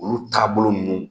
Olu tagabolo ninnu